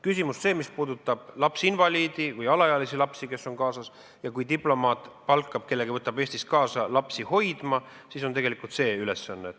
Kui on kaasas lapsinvaliid või alaealine laps ning kui diplomaat palkab kellegi, võtab ta Eestist kaasa lapsi hoidma, siis on sel inimesel tegelikult see ülesanne.